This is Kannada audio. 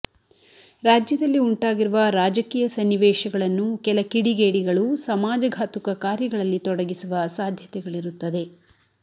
ರಾಜ್ಯದಲ್ಲಿ ಉಂಟಾಗಿರುವ ರಾಜಕೀಯ ಸನ್ನಿವೇಶಗಳನ್ನು ಕೆಲ ಕಿಡಿಗೇಡಿಗಳು ಸಮಾಜಘಾತಕ ಕಾರ್ಯಗಳಲ್ಲಿ ತೊಡಗಿಸುವ ಸಾಧ್ಯತೆಗಳಿರುತ್ತದೆ